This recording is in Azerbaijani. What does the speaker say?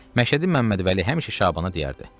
Məşədi Məmmədvəli həmişə Şabana deyərdi: